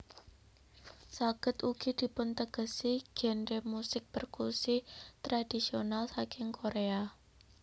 Saged ugi dipuntegesi genre musik perkusi tradisional saking korea